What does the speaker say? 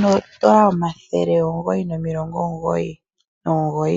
noodola omathele ongoyi nomilongonongoyi.